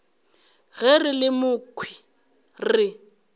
ge re le mokhwi re